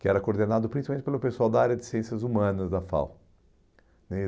que era coordenado principalmente pelo pessoal da área de ciências humanas da FAU. E